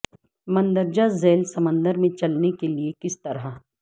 مندرجہ ذیل سمندر میں چلنے کے لئے کس طرح